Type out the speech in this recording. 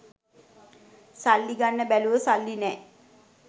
සල්ලි ගන්න බැලුව සල්ලි නෑ